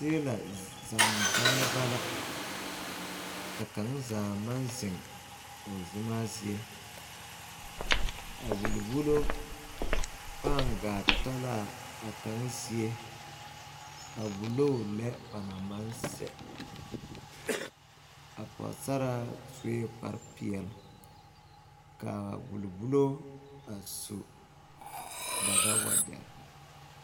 Teelɛ zanne zaneba la ka kaŋ zaa maŋ zeŋ o zemaa zie a wulli wullo pãã gaa ta laa a kaŋ zie a wulloo lɛ ba naŋ maŋ sɛ a poosaraa suee kpare peɛle kaa wulli wullo a su daga wagyɛrre.